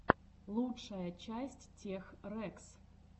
лучшая часть тех рэкс